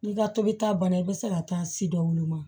N'i ka tobili ta banna i bɛ se ka taa si dɔw woloma